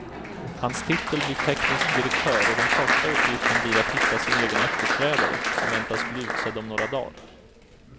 Hans titel blir teknisk direktör och den första uppgiften blir att hitta sin egen efterträdare, som väntas bli utsedd om några dagar.